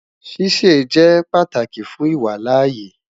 Sise jẹ pataki fun iwalaaye